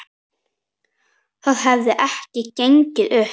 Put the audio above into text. Það hefði ekki gengið upp.